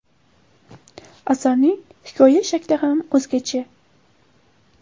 Asarning hikoya shakli ham o‘zgacha.